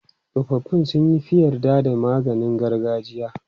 Tsofaffi sun fi yarda da maganin gargajiya.